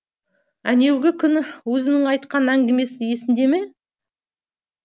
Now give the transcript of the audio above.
әнеугі күні өзіңнің айтқан әңгімең есіңде ме